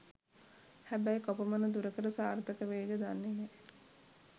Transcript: හැබැයි කොපමණ දුරකට සාර්ථක වෙයිද දන්නේ නෑ.